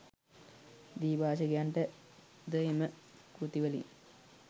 ද්විභාෂිකයන්ට ද එම කෘතිවලින්